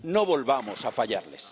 No volvamos a fallarles.